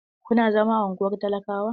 Kuna zama a unguwar talakawa?